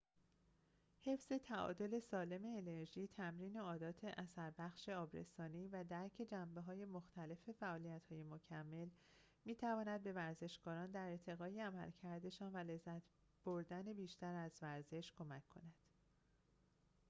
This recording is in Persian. حفظ تعادل سالم انرژی تمرین عادات اثربخش آبرسانی و درک جنبه‌های مختلف فعالیت‌های مکمل می‌تواند به ورزشکاران در ارتقای عملکردشان و لذت بردن بیشتر از ورزش کمک کند